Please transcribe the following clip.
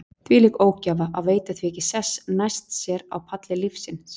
Þvílík ógæfa að veita því ekki sess næst sér á palli lífsins.